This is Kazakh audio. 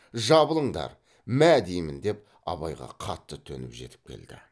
жабылыңдар мә дейім деп абайға қатты төніп жетіп келді